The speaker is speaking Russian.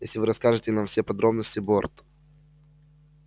если вы расскажете нам все подробности борт